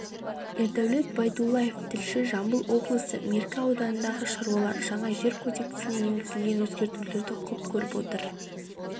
ердәулет байдуллаев тілші жамбыл облысы меркі ауданындағы шаруалар жаңа жер кодексіне енгізілген өзгертулерді құп көріп отыр